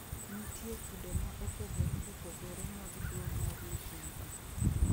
Nitie kido ma opogore opogore mag tuo mar luhumbru